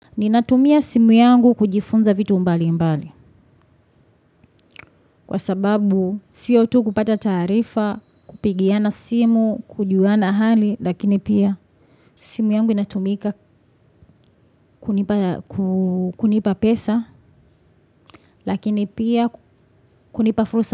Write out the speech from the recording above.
Ninatumia simu yangu kujifunza vitu mbali mbali kwa sababu sio tu kupata tarifa kupigiana simu kujuana hali lakini pia simu yangu inatumika kunipa pesa lakini pia kunipa fursa.